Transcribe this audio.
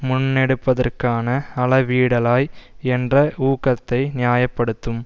முன்னெடுப்பதற்கான அளவீடளாய் என்ற ஊகத்தை நியாய படுத்தும்